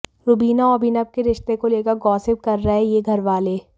रुबीना और अभिनव के रिश्ते को लेकर गॉसिप कर रहे हैं ये घरवाले